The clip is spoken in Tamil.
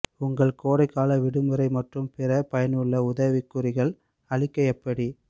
உங்கள் கோடைக்கால விடுமுறை மற்றும் பிற பயனுள்ள உதவிக்குறிப்புகள் அழிக்க எப்படி